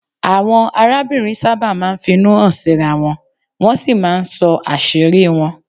Àwọn arábìnrin sábà máa ń finú hàn síra wọn, wọ́n sì máa ń sọ àṣírí wọn